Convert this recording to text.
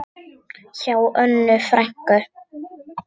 Hjá Önnu frænku.